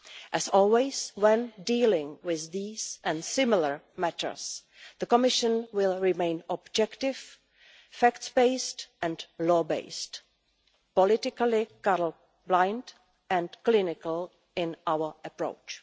As always, when dealing with these and similar matters, the Commission will remain objective, facts-based and law-based, politically colour-blind and clinical in our approach.